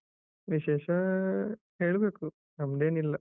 ವಿಶೇಷ ಹೇಳ್ಬೇಕು. ನಮ್ದೇನಿಲ್ಲ.